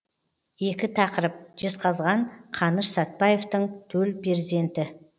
екі тақырып жезқазған қаныш сәтбаевтың төл перзенті